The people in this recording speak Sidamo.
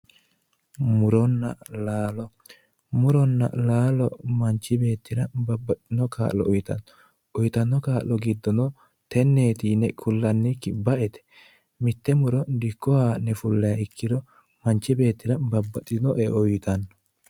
Muronna laalo, muronna laalo manchi beettira lowo kaa'lo uyittano uyittano kaa'lo giddono teneti yinne ku'laniti baete mite muro dikko ha'ne fullaniha ikkiro manchi beettira babbaxotino eo uyittano.